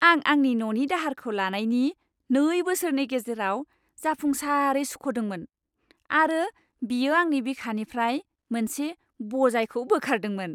आं आंनि न'नि दाहारखौ लानायनि नै बोसोरनि गेजेराव जाफुंसारै सुख'दोंमोन आरो बियो आंनि बिखानिफ्राय मोनसे बजायखौ बोखारदोंमोन!